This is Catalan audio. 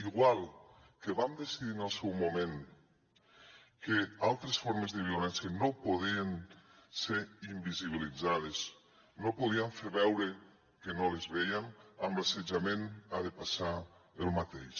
igual que vam decidir en el seu moment que altres formes de violència no podien ser invisibilitzades no podíem fer veure que no les vèiem amb l’assetjament ha de passar el mateix